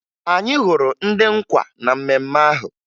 Anyị hụrụ ndị nkwa na mmemme ahụ